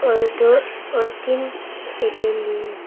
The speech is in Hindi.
और दो और तीन ए_टी_एम भी हैं।